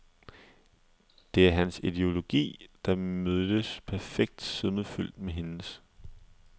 Det er hans ideologi, der mødtes perfekt sødmefyldt med hendes.